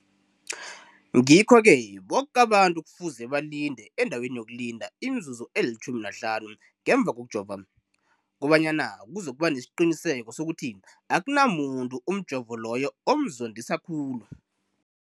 Ngikho-ke boke abantu kufuze balinde endaweni yokulinda imizuzu eli-15 ngemva kokujova, koba nyana kuzokuba nesiqiniseko sokuthi akunamuntu umjovo loyo omzondisa khulu.